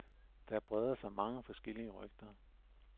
Der breder sig mange forskellige rygter.